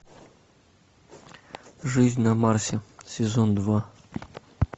жизнь на марсе сезон два